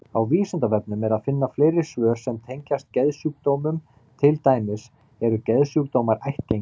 Á Vísindavefnum er að finna fleiri svör sem tengjast geðsjúkdómum, til dæmis: Eru geðsjúkdómar ættgengir?